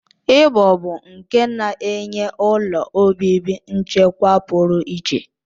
Ibo bụ nke na-enye ụlọ obibi nchekwa pụrụ iche